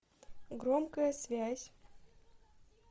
громкая связь